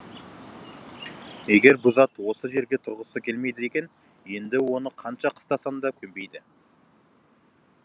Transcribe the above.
егер бұ зат осы жерге тұрғысы келмейді екен енді оны қанша қыстасаң да көнбейді